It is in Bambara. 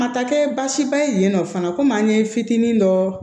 A ma taa kɛ baasiba ye yen nɔ fana komi an ye fitinin dɔ